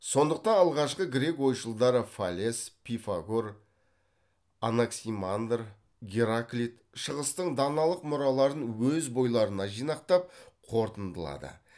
сондықтан алғашқы грек ойшылдары фалес пифагор анаксимандр гераклит шығыстың даналық мұраларын өз бойларына жинақтап қортындылады